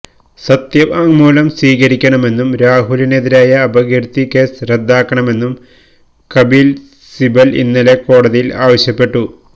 സത്യവാങ്മൂലം സ്വീകരിക്കണമെന്നും രാഹുലിനെതിരായ അപകീര്ത്തി കേസ് റദ്ദാക്കണമെന്നും കപില് സിബല് ഇന്നലെ കോടതിയില് ആവശ്യപ്പെട്ടു